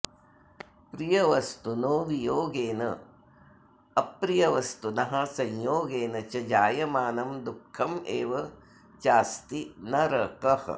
प्रियवस्तुनो वियोगेनाऽप्रियवस्तुनः संयोगेन च जायमानं दुःखमेव चास्ति नरकः